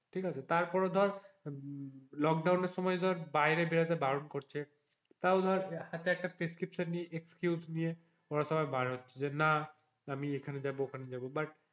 ঠিক আছে তার পরে ধরে লোকডাউন এর সময় বাইরে বেরোতে বারণ করছে তাই ধর হাতে একটা প্রেসক্রিপশন নিয়ে excuse নিয়ে ওরা সবাই বার হচ্ছে না আমি ওখানে যাবো এখানে যাবো but